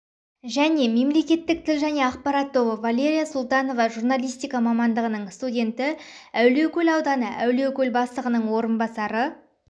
және мемлекеттік тіл және ақпарат тобы валерия султанова журналистика мамандығының студенті әулиекөл ауданы әулиекөл бастығының орынбасары